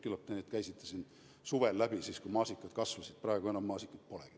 Küllap te käisite siin need teemad läbi suvel, kui maasikad kasvasid, praegu enam maasikaid polegi.